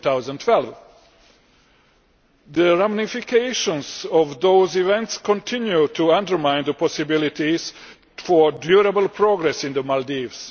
2012. The ramifications of those events continue to undermine the possibilities for durable progress in the Maldives.